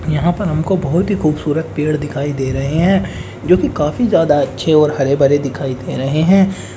यहाँ पर हमको बहुत ही खूबसूरत पेड़ दिखाई दे रहे हैं जोकि काफी ज़्यादा अच्छे हरे भरे दिखाई दे रहे हैं।